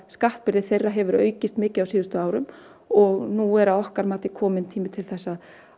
skattbyrði þeirra hefur aukist mikið á síðustu árum og nú er að okkar mati kominn tími til þess